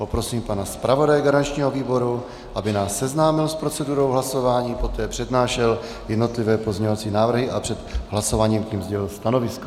Poprosím pana zpravodaje garančního výboru, aby nás seznámil s procedurou hlasování, poté přednášel jednotlivé pozměňovací návrhy a před hlasováním k nim sdělil stanovisko.